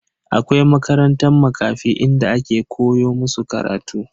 Akwai makarantan Makafi inda ake koya musu karatu.